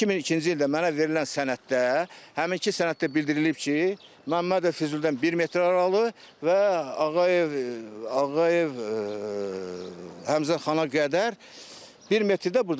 2002-ci ildə mənə verilən sənəddə həminki sənəddə bildirilib ki, Məmmədov Füzulidən bir metr aralı və Ağayev Ağayev Həmzəxana qədər bir metrdə burdan.